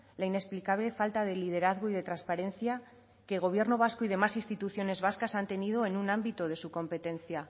la inexplicable falta de liderazgo y de transparencia que gobierno vasco y demás instituciones vascas han tenido en un ámbito de su competencia